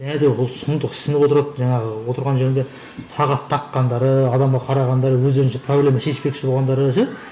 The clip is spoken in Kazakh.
иә де ол сұмдық ісініп отырады жаңағы отырған жерінде сағат таққандары адамға қарағанда өздерінше проблема шешпекші болғандары ше